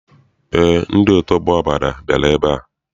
Eé, ndị otu ọgbọ Abada bịara ebea.